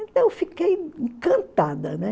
Então fiquei encantada, né?